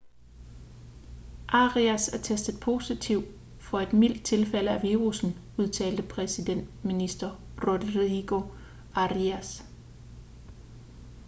arias er testet positiv for et mildt tilfælde af virussen udtalte præsidentminister rodrigo arias